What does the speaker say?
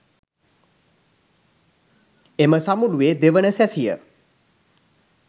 එම සමුළුවේ දෙවන සැසිය